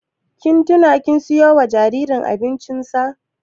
Kin tina kin siyo wa jaririn mu abincin sa?